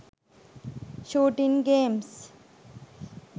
shooting games